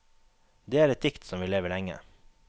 Det er et dikt som vil leve lenge.